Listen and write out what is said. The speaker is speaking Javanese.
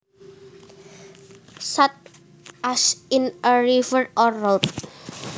Such as in a river or road